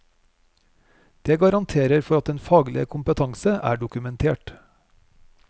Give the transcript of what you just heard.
Det garanterer for at den faglige kompetanse er dokumentert.